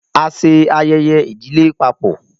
A ṣe ayẹyẹ idile papọ.